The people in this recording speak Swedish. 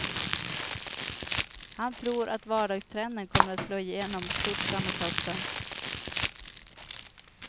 Han tror att vardagstrenden kommer att slå igenom stort framåt hösten.